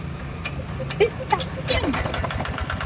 FIMMTA STUND